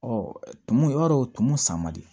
tumu i b'a dɔn o tumu san man di